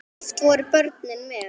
Oft voru börnin með.